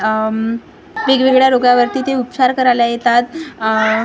उम्म वेगवेगळ्या रोगांवरती ते उपचार करायला येतात आह--